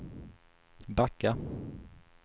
backa